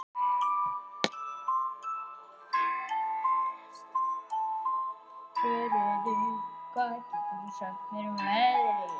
Svörfuður, hvað geturðu sagt mér um veðrið?